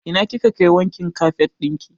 Ina kika kai wankin kafet ɗin ki?